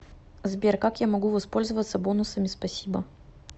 сбер как я могу воспользоваться бонусами спасибо